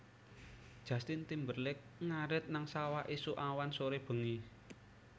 Justin Timberlake ngarit nang sawah isuk awan sore bengi